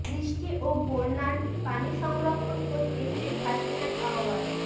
বৃষ্টি ও বন্যার পানি সংরক্ষণ করতে শেখ হাসিনার আহ্বান